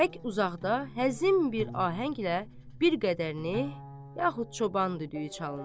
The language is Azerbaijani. Tək uzaqda həzin bir ahənglə bir qədərini, yaxud çoban düdüyü çalınır.